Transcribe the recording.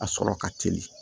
A sɔrɔ ka teli